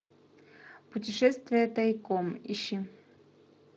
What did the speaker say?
путешествие тайком ищи